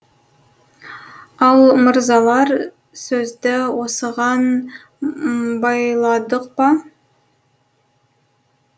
ал мырзалар сөзді осыған байладық па